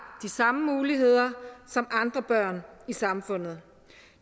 de samme muligheder som andre børn i samfundet